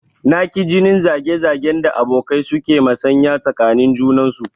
Na ki jinin zage zagen da abokai su ke masanya tsakanin junansu